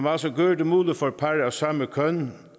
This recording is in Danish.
også gør det muligt for par af samme køn